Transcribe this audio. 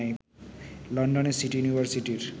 লন্ডনের সিটি ইউনিভার্সিটির